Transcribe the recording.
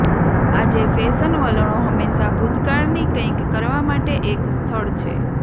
આજે ફેશન વલણો હંમેશા ભૂતકાળની કંઈક કરવા માટે એક સ્થળ છે